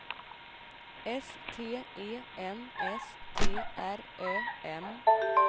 S T E N S T R Ö M